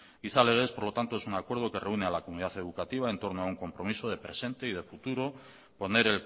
gizalegez por lo tanto es un acuerdo que reúne a la comunidad educativa entorno a un compromiso de presente y de futuro poner